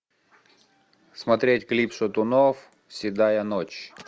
смотреть клип шатунов седая ночь